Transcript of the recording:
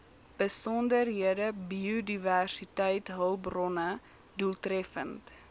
besondere biodiversiteitshulpbronne doeltreffend